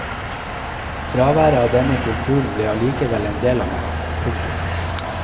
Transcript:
Fraværet av denne kulturen ble allikevel en del av meg. punktum